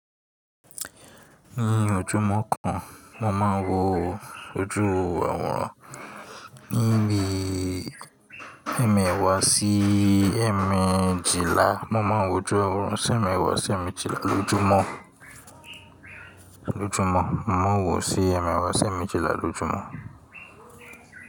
Ní ojúmọ́ kan, mo máa ń wo ojú àwòrán níbi ẹ̀mẹ́wàá sí ẹ̀mẹ́jìlá. Mo máa ń wo ojú àwòrán sì ẹ́ẹ̀mẹ́wàá sí ẹ́ẹ̀mẹ́jìlá lójúmọ́, lójúmọ́. Mo ń wò ó sí ẹ́ẹ̀mẹ́wàá sí ẹ́ẹ̀mẹ́jìlá lójúmọ́.